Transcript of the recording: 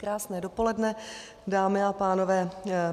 Krásné dopoledne, dámy a pánové.